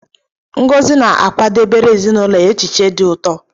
Ngozi na-akwadebere ezinụlọ ya achịcha dị ụtọ.